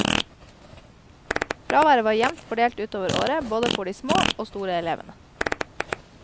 Fraværet var jevnt fordelt utover året både for de små og store elevene.